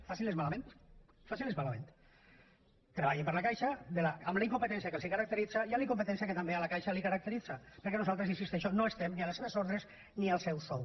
facin les malament facin les malament treballin per a la caixa amb la incompetència que els caracteritza i amb la incompetència que també a la caixa la caracteritza perquè nosaltres hi insisteixo no estem ni a les seves ordres ni al seu sou